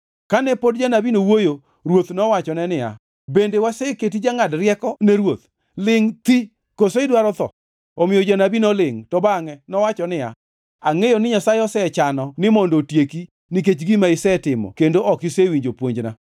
Kane pod janabino wuoyo, ruoth nowachone niya, “Bende waseketi jangʼad rieko ne ruoth? Lingʼ thi! Koso idwaro tho?” Omiyo janabi nolingʼ, to bangʼe nowacho niya, “Angʼeyo ni Nyasaye osechano ni mondo otieki nikech gima isetimo kendo ok isewinjo puonjna.”